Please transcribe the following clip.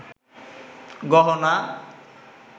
গহনা